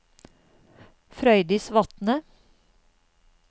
Frøydis Vatne